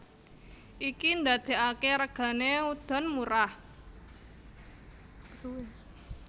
Iki ndadekake regane udon murah